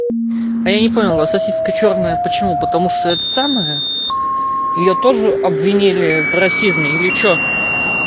а я не понял вас сосиска чёрная почему потому что это самое её тоже обвинили в расизме или что